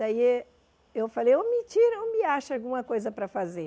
Daí eh eu falei, ou me tira ou me acha alguma coisa para fazer.